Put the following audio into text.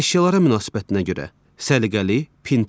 Əşyalara münasibətinə görə: səliqəli, pinti.